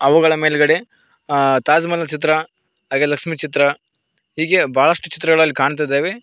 ಹೂಗಳ ಮೇಲ್ಗಡೆ ಆ ತಾಜ್ ಮಹಲ್ ನ ಚಿತ್ರ ಹಾಗೆ ಲಕ್ಷ್ಮಿ ಚಿತ್ರ ಹೀಗೆ ಬಹಳಷ್ಟು ಚಿತ್ರಗಳು ಅಲ್ಲಿ ಕಾಣ್ತಿದ್ದಾವೆ.